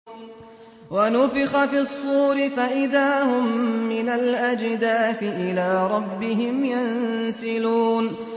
وَنُفِخَ فِي الصُّورِ فَإِذَا هُم مِّنَ الْأَجْدَاثِ إِلَىٰ رَبِّهِمْ يَنسِلُونَ